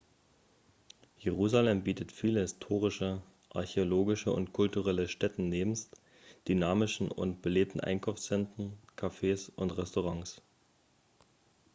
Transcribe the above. jerusalem bietet viele historische archäologische und kulturelle stätten nebst dynamischen und belebten einkaufszentren cafés und restaurants